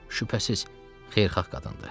Şübhəsiz xeyirxah qadındır.